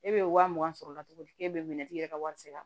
E bɛ waa mugan sɔrɔ o la cogo di k'e bɛ minɛtigi yɛrɛ ka wari sara